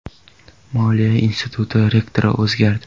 Moliya instituti rektori o‘zgardi.